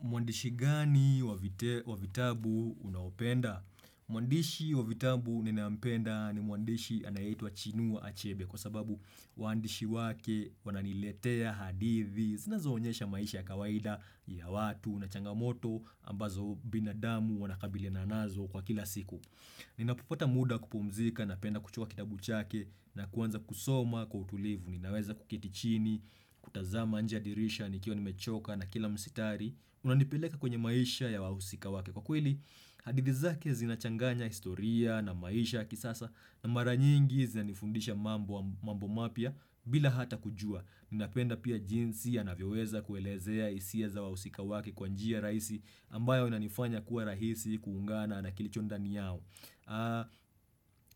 Mwandishi gani wa vite wa vitabu unaopenda? Mwandishi wa vitabu ninampenda ni mwandishi anayeitwa Chinua Achebe kwa sababu uandishi wake wananiletea hadithi zinazoonyesha maisha ya kawaida ya watu na changamoto ambazo binadamu wanakabiliana nazo kwa kila siku. Ninapopata muda wa kupumzika napenda kuchukua kitabu chake na kuanza kusoma kwa utulivu. Ninaweza kuketi chini, kutazama nje ya dirisha nikiwa nimechoka na kila msitari unanipeleka kwenye maisha ya wahusika wake kwa kweli hadithi zake zinachanganya historia na maisha kisasa na mara nyingi zinanifundisha mambo mambo mapya bila hata kujua, Ninapenda pia jinsi ya anavyoweza kuelezea hisia za wahusika wake kwa njia rahisi ambayo inanifanya kuwa rahisi kuungana na kilicho ndani yao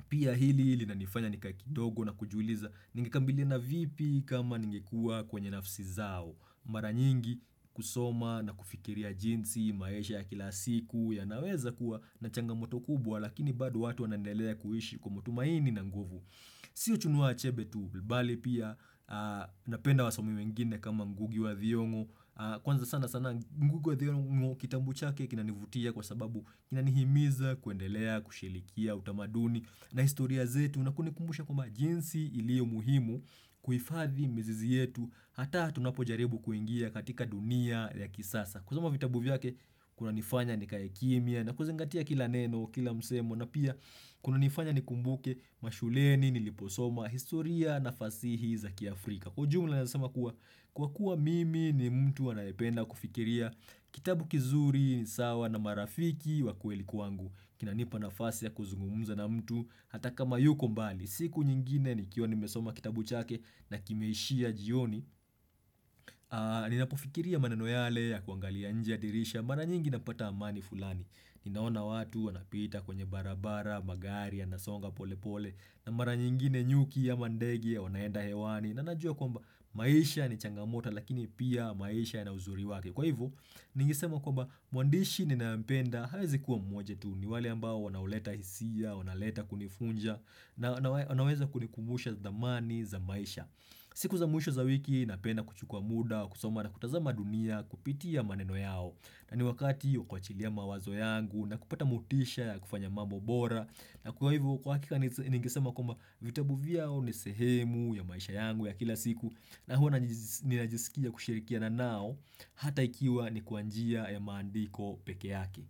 Pia hili lilinanifanya nikae kidogo na kujiuliza ningekabiliana vipi kama ningekuwa kwenye nafsi zao. Mara nyingi husoma na kufikiria jinsi maisha ya kila siku yanaweza kuwa na changamoto kubwa lakini bado watu wanandelea kuishi kwa matumaini na nguvu Sio Chinua Achebe tu, bali pia napenda wasomi wengine kama Ngugi wa Thiongo Kwanza sana sana Ngugi wa Thiongo kitabu chake kinanivutia kwa sababu kinanihimiza kuendelea kushirikia utamaduni na historia zetu na kunikumbusha kwamba jinsi ilio muhimu kuhifadhi mizizi yetu hata tunapojaribu kuingia katika dunia ya kisasa. Kusoma vitabu vyake kunanifanya nikae kimya na kuzingatia kila neno kila msemo na pia kunanifanya nikumbuke mashuleni niliposoma historia na fasihi za kiafrika. Kwa ujumla naweza sema kuwa kwa kuwa mimi ni mtu anayependa kufikiria kitabu kizuri ni sawa na marafiki wa kweli kwangu kinanipa nafasi ya kuzungumza na mtu hata kama yuko mbali. Siku nyingine nikiwa nimesoma kitabu chake na kimeishia jioni ninapofikiria maneno yale ya kuangalia nje ya dirisha mara nyingi napata amani fulani. Ninaona watu wanapita kwenye barabara, magari yanasonga pole pole na mara nyingine nyuki ama ndege wanaenda hewani na najua kwamba maisha ni changamoto lakini pia maisha yana uzuri wake. Kwa hivyo, ningesema kwamba mwandishi ninayempenda hawezi kuwa mmoja tu. Ni wale ambao wanaoleta hisia, wanaleta kunifunja na na wanaweza kunikumbusha dhamani za maisha siku za mwisho za wiki napenda kuchukua muda kusoma na kutazama dunia kupitia maneno yao. Na ni wakati wa kuachilia mawazo yangu na kupata motisha ya kufanya mambo bora na kwa hivyo kwa hakika ningesema kwamba vitabu vyao ni sehemu ya maisha yangu ya kila siku na huwa ninajisikia kushirikia nao hata ikiwa ni kwa njia ya maandiko peke yake.